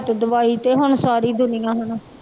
ਤੇ ਦਵਾਈ ਤੇ ਹੁਣ ਸਾਰੀ ਦੁਨੀਆਂ ਹੁਣ।